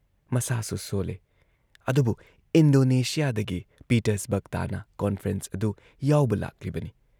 ꯃꯁꯥꯁꯨ ꯁꯣꯜꯂꯦ, ꯑꯗꯨꯕꯨ ꯏꯟꯗꯣꯅꯦꯁꯤꯌꯥꯗꯒꯤ ꯄꯤꯇꯔꯁꯕꯔꯒ ꯇꯥꯟꯅ ꯀꯣꯟꯐ꯭ꯔꯦꯟꯁ ꯑꯗꯨ ꯌꯥꯎꯕ ꯂꯥꯛꯂꯤꯕꯅꯤ